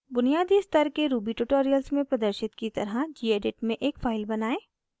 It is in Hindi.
बुनियादी स्तर के ruby ट्यूटोरियल्स में प्रदर्शित की तरह gedit में एक फाइल बनाएं